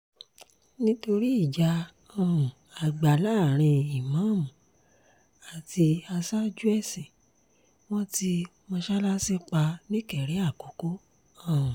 nítorí ìjà um àgbà láàrin ìmáàmù àti aṣáájú ẹ̀sìn wọn ti mọ́sálásí pa nìkéré àkọ́kọ́ um